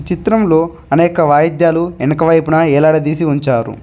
చిత్రంలో అనేక వాయిద్యాలు వెనకవైపున ఎలాడదీసి ఉంచారు.